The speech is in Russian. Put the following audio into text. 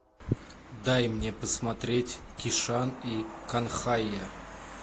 дай мне посмотреть кишан и канхайя